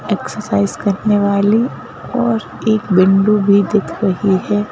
Exercise करने वाली और एक बिंडु भी दिख रही है।